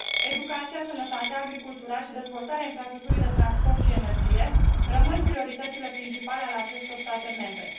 Educația, sănătatea, agricultura și dezvoltarea infrastructurii de transport și energie rămân prioritățile principale ale acestor state membre.